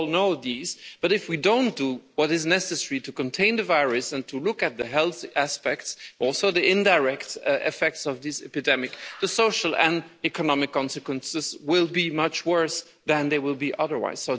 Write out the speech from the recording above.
We all know these, but if we don't do what is necessary to contain the virus and to look at the health aspects also the indirect effects of this epidemic the social and economic consequences will be much worse than they would be